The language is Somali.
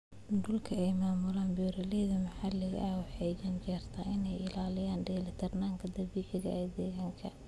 Dhulka ay maamulaan beeralayda maxaliga ahi waxa ay u janjeertaa in ay ilaaliyaan dheelitirnaanta dabiiciga ah ee deegaanka.